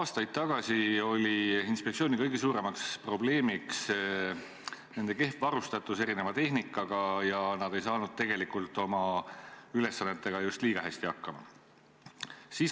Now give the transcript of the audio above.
Aastaid tagasi oli inspektsiooni kõige suurem probleem nende kehv varustatus erineva tehnikaga ja nad ei saanud tegelikult oma ülesannetega just liiga hästi hakkama.